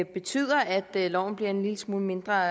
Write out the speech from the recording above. betyder at loven bliver en lille smule mindre